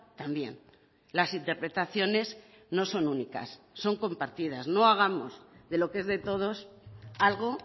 también las interpretaciones no son únicas son compartidas no hagamos de lo que es de todos algo